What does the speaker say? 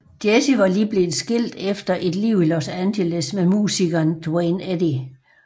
Jessi var lige blevet skilt efter et liv i Los Angeles med musikeren Duane Eddy